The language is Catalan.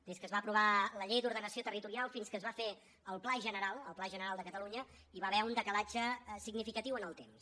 des que es va aprovar la llei d’ordenació territorial fins que es va fer el pla general el pla general de catalunya hi va haver un decalatge significatiu en el temps